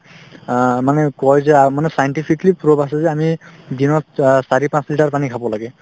আ, মানে কই যে আ মানে scientifically prove আছে যে আমি দিনত চাৰি-পাঁচ liter পানী খাব লাগে